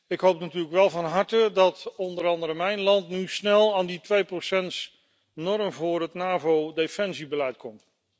Ik hoop natuurlijk wel van harte dat onder andere mijn land nu snel aan die tweeprocentsnorm voor het NAVO defensiebeleid komt.